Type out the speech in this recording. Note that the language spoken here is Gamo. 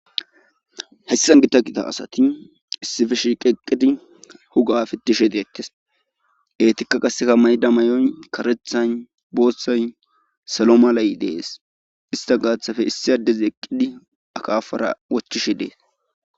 Hessan gita qita asati issifishi qeqqidi huga fitishe diettes etikka qaseka mayda mayoy karethan boothtsay salo malay dees ista gaathafe issi addez eqqidi akafara wochishe dees